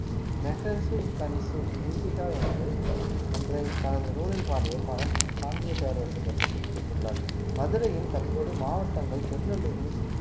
Megasthenes Indica என்று என்ற தனது நூலில் பாடிய பகன் பாண்டிய பேரரசு பற்றி குறிப்பிட்டுள்ளார் மதுரையின் தற்போது மாவட்டங்கள் திருநெல்வேலி